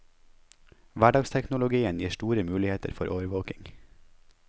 Hverdagsteknologien gir store muligheter for overvåking.